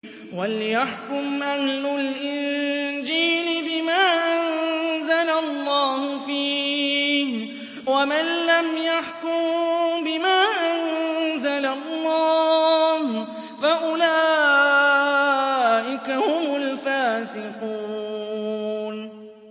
وَلْيَحْكُمْ أَهْلُ الْإِنجِيلِ بِمَا أَنزَلَ اللَّهُ فِيهِ ۚ وَمَن لَّمْ يَحْكُم بِمَا أَنزَلَ اللَّهُ فَأُولَٰئِكَ هُمُ الْفَاسِقُونَ